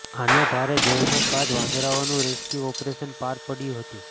અને ભારે જહેમત બાદ વાંદરાઓનું રેસ્ક્યૂ ઓપરેશન પાર પાડ્યું હતું